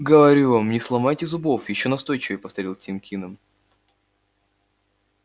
говорю вам не сломайте зубов ещё настойчивее повторил тим кинем